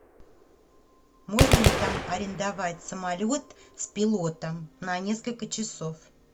можно ли там арендовать самолет с пилотом на несколько часов